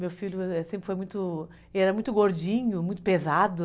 Meu filho sempre foi muito... Ele era muito gordinho, muito pesado.